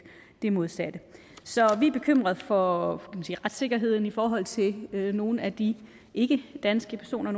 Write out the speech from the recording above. det modsatte så vi er bekymrede for retssikkerheden i forhold til nogle af de ikkedanske personer